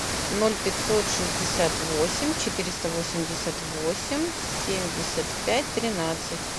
ноль пятьсот шестьдесят восемь четыреста восемьдесят восемь семьдесят пять тринадцать